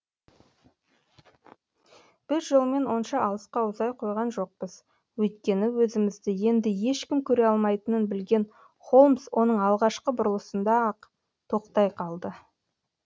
біз жолмен онша алысқа ұзай қойған жоқпыз өйткені өзімізді енді ешкім көре алмайтынын білген холмс оның алғашқы бұрылысында ақ тоқтай қалды